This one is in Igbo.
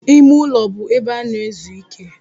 Ime ụlọ bụ ebe a na-ezu ike.